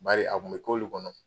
Bari a kun be k'olu kɔnɔ